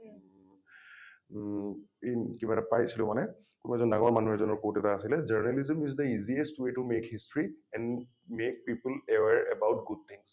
উম ইন কিবা এটা পাইছিলো মানে ।মই এজন ডাঙৰ মানুহৰ quote এটা আছিলে journalism is the easiest way to make history and make people aware about good things